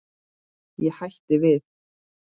Ég hætti við.